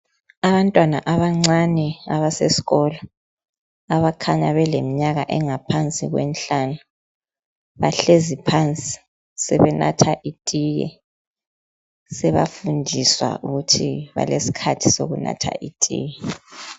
Abantwana abancane abasesikolo abakhanya belemi nyaka engaphansi kwemihlanu bahlezi phansi sebanatha itiye seba fundiswa ukuthi balesikhathi sokunatha itiye..